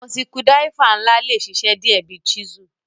Awọn sikudiraifa nla le ṣiṣẹ diẹ bi chisel